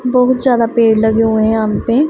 बहुत ज्यादा पेड़ लगे हुए हैं यहां पे--